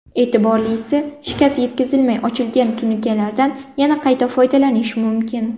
E’tiborlisi, shikast yetkazilmay ochilgan tunukalardan yana qayta foydalanish mumkin.